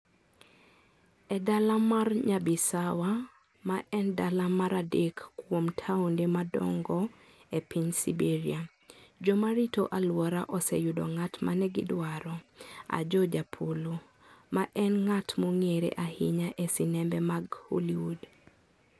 E dala mar Nyabisawa, ma en dala mar adek kuom taonde madongo e piny Siberia, joma rito alwora oseyudo ng'at ma ne gidwaro: Ajoh Japolo, ma en ng'at mong'ere ahinya e sinembe mag Hollywood.